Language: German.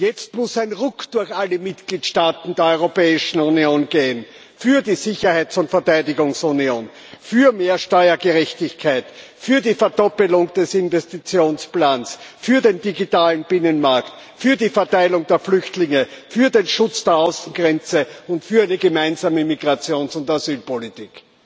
Jetzt muss ein Ruck durch alle Mitgliedstaaten der Europäischen Union gehen für die Sicherheits und Verteidigungsunion, für mehr Steuergerechtigkeit, für die Verdoppelung des Investitionsplans, für den digitalen Binnenmarkt, für die Verteilung der Flüchtlinge, für den Schutz der Außengrenze und für die gemeinsame Migrations und Asylpolitik.